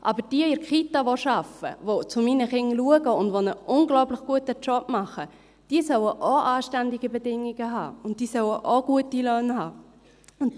Aber diejenigen, welche in der Kita arbeiten, sich um meine Kinder kümmern und einen unglaublich guten Job machen, die sollen auch anständige Bedingungen haben, und die sollen auch gute Löhne haben.